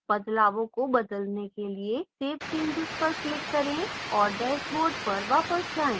बदलावों को बदलने के लिए save changes पर click करें और dashboard पर वापस जाएं